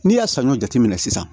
N'i y'a saɲɔ jateminɛ sisan